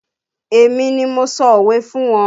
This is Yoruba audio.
Èmi ni mo sọ òwe fún wọn